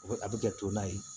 A bɛ a bɛ kɛ to na ye